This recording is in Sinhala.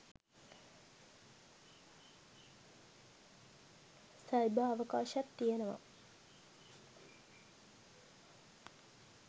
සයිබර් අවකාශත් තියෙනවා.